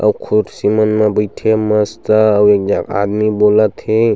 अऊ खुर्शी मन म बईथे हे मस्त अऊ एक झन आदमी बोलत हे।